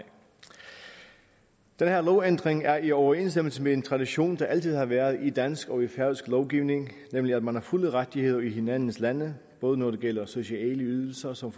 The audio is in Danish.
den her lovændring er i overensstemmelse med en tradition der altid har været i dansk og i færøsk lovgivning nemlig at man har fulde rettigheder i hinandens lande både når det gælder sociale ydelser som